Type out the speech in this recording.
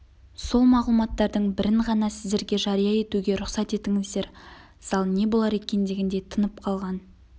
сол мағлұматтардың бірін ғана сіздерге жария етуге рұқсат етіңіздер зал не болар екен дегендей тынып қалған